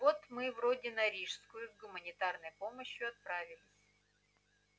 вот мы вроде на рижскую с гуманитарной помощью отправились